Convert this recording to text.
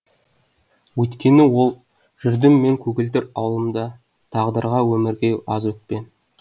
өйткені ол жүрдім мен көгілдір ауылымда тағдырға өмірге аз өкпем